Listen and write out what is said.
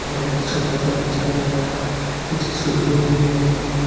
यहां एक छोटा सा बच्चा भी नजर आ रहा है कुछ स्विच बोर्ड भी लगे हुए।